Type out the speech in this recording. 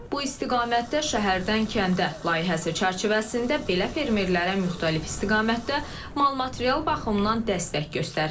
Bu istiqamətdə Şəhərdən Kəndə layihəsi çərçivəsində belə fermerlərə müxtəlif istiqamətdə mal-material baxımından dəstək göstərilir.